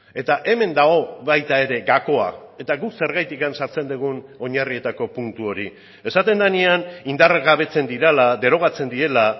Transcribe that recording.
eta hemen dago baita ere gakoa eta guk zergatik sartzen dugun oinarrietako puntu hori esaten denean indargabetzen direla derogatzen direla